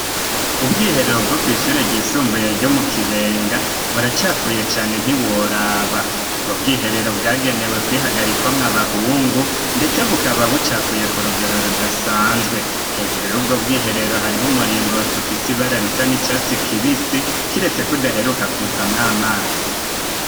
Ubwiherero bwo kw'ishure ryisumbuye ryo mu kibenga buracafuye cane ntiworaba ubwo bwiherero bwagenewe kwihagarikwamwo abahungu, ndetse bukaba bucafuye ku rugero rudasanzwe hejuru y'ubwo bwiherero hariho umuringot ufise ibara risa n'icatsi kibisi kiretse kudaheruka kuzamwo amazi.